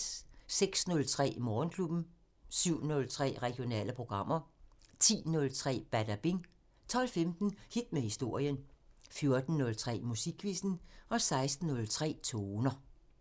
06:03: Morgenklubben 07:03: Regionale programmer 10:03: Badabing 12:15: Hit med historien 14:03: Musikquizzen 16:03: Toner